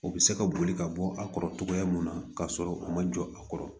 U bɛ se ka boli ka bɔ a kɔrɔ cogoya mun na ka sɔrɔ u ma jɔ a kɔrɔ